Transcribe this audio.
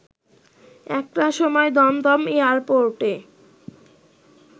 একটার সময় দমদম এয়ারপোর্টে